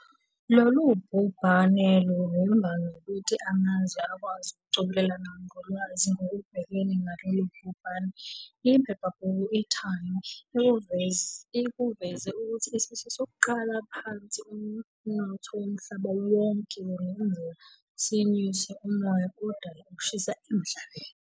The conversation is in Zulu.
Lolu bhubhane luvimba nokuthi amazwe akwazi ukucobelelana ngolwazi ngokubhekana nalolu bhubhane. Iphepha bhuku i-Time ikuveze ukuthi isifiso sokuqala phansi umnotho womhlaba wonke kungenzeka sinyuse umoya odala ukushisa emhlabeni.